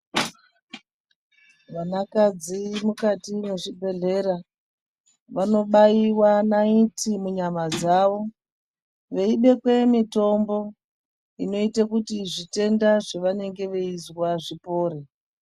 Vanakadzi mukati mwezvibhedhlera vanobaiwa naiti munyama dzavo. Veibekwe mitombo inoita kuti zvetenda zvavanenge veizwa zvipore.